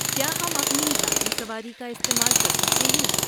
کیا ہم اپنی ذاتی سواری کا استعمال کر سکتے ہیں؟